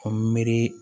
An mi miiri